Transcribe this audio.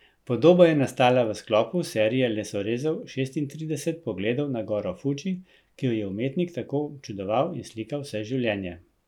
Podoba je nastala v sklopu serije lesorezov Šestintrideset pogledov na goro Fuji, ki jo je umetnik tako občudoval in slikal vse življenje.